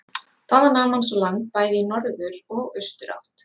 Þaðan nam hann svo land bæði í norður og austurátt.